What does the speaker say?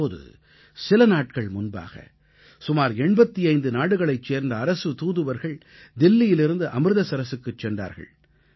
இப்போது சில நாட்கள் முன்பாக சுமார் 85 நாடுகளைச் சேர்ந்த அரசுத் தூதுவர்கள் தில்லியிலிருந்து அம்ருதசரசுக்குச் சென்றார்கள்